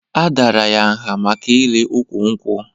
A dàrà ya nha maka ili ụkwụ nkwụ